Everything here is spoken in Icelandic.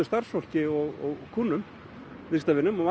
starfsfólki og kúnnum viðskiptavinum og